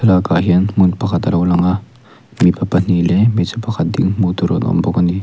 tah hian hmun pakhat alo lang a mipa pahnih leh hmeichhe pakhat ding hmuh tur an awm bawk ani.